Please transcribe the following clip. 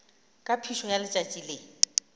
ka phišo ya letšatši le